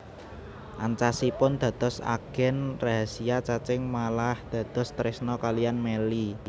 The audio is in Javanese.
Ancasipun dados agen rahasiya Cacing malah dados tresna kaliyan Melly